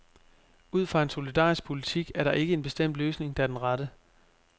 Ud fra en solidarisk politik er der ikke en bestemt løsning, der er den rette.